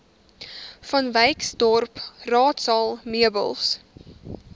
vanwyksdorp raadsaal meubels